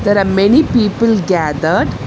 There are many people gathered.